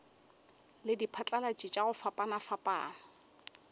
le diphatlalatši tša go fapafapana